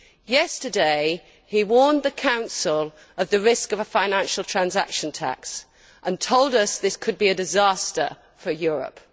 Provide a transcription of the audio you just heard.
Yesterday, he warned the Council of the risk of a financial transaction tax and told us that this could be a disaster for Europe.